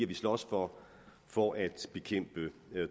vi slås for for at bekæmpe